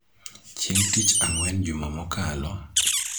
Chieng� tich ang�wen juma mokalo,